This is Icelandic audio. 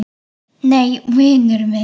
Nei, vinur minn.